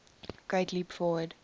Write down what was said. great leap forward